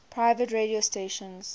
private radio stations